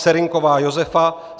Serynková Josefa